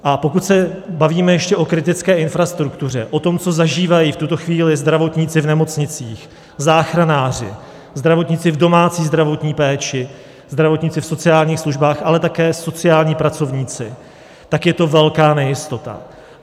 A pokud se bavíme ještě o kritické infrastruktuře, o tom, co zažívají v tuto chvíli zdravotníci v nemocnicích, záchranáři, zdravotníci v domácí zdravotní péči, zdravotníci v sociálních službách, ale také sociální pracovníci, tak je to velká nejistota.